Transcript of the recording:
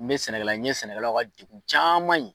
N bɛ sɛnɛkɛla n ye sɛnɛkɛlaw ka degun caman ye.